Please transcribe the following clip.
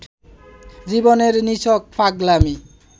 জীবনের নিছক পাগলামী